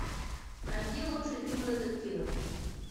найди лучшие фильмы детективы